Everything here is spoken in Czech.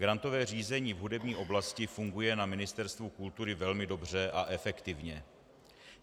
Grantové řízení v hudební oblasti funguje na Ministerstvu kultury velmi dobře a efektivně.